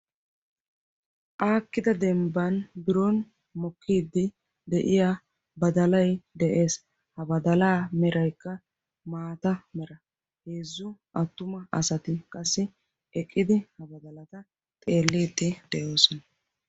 Aakkida dembbaan biron mokkiidi de'iyaa badalay de'ees. ha badalaa meraykka maata mera. heezzu attuma asati eqqidi qassi ha badalata xeelliidi de'oosona.